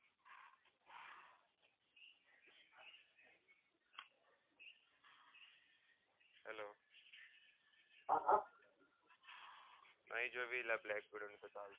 hello ah નહિ જોવી લા black widow ની